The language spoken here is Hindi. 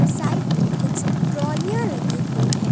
साइड में कुछ ट्रालियां लगी हुई हैं।